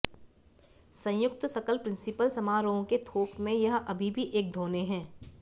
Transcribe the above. संयुक्त सकल प्रिंसिपल समारोह के थोक में यह अभी भी एक धोने है